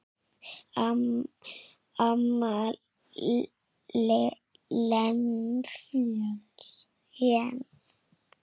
Amma Jens.